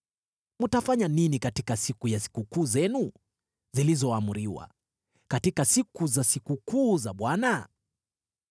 Mtafanya nini katika siku ya sikukuu zenu zilizoamriwa, katika siku za sikukuu za Bwana ?